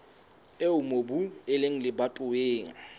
eo mobu o leng lebatoweng